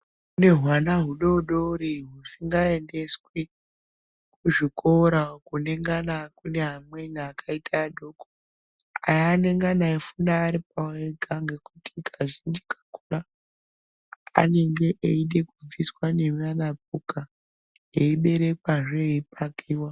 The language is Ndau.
Kune rwana hudodori husingaendeswi kuzvikora kunengana kune amweni akaita adoko aya anengana anofunda aripawo ega ngekuti kazhinji kakona anenge eide kubviswa nemanapuka eiberekwazve eipakiwa.